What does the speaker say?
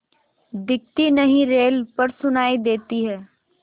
दिखती नहीं रेल पर सुनाई देती है